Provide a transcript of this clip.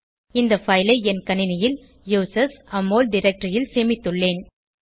இந்த பைல் ஐ என் கணினியில் usersAmol டைரக்டரி ல் சேமித்துள்ளேன்